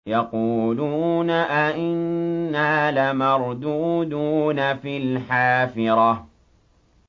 يَقُولُونَ أَإِنَّا لَمَرْدُودُونَ فِي الْحَافِرَةِ